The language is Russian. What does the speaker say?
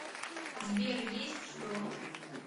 сбер есть что